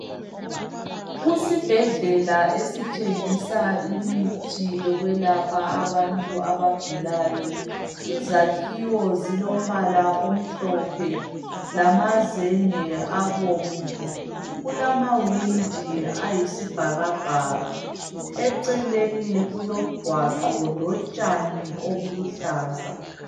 Kusibhedlela esithengisa imithi yokwelapha abantu abagulayo. Izakhiwo zilombala omhlophe lamazenge abomvu. Kulamawindi ayisibhakabhaka, eceleni kulomgwaqo lotshani obuluhlaza.